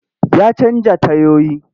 Ya canja tayoyi.